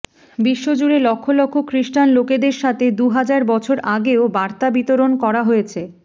বিশ্বজুড়ে লক্ষ লক্ষ খ্রিস্টান লোকেদের সাথে দু হাজার বছর আগেও বার্তা বিতরণ করা হয়েছে